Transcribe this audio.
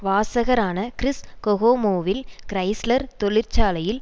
வாசகரான Chris கொகோமோவில் Chrysler தொழிற்சாலையில்